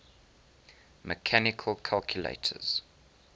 mechanical calculators